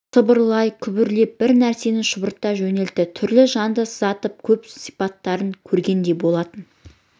сыбырлай күбірлеп бір нәрсені шұбырта жөнелді түрлі жанды сызаты көп сипаттарын көргендей болатын